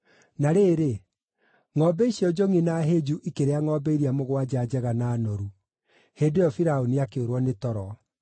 Na rĩrĩ, ngʼombe icio njongʼi na hĩnju ikĩrĩa ngʼombe iria mũgwanja njega na noru. Hĩndĩ ĩyo Firaũni akĩũrwo nĩ toro.